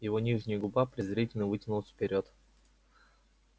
его нижняя губа презрительно вытянулась вперёд